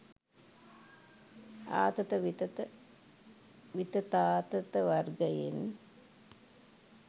ආතත විතත විතතාතත වර්ගයෙන්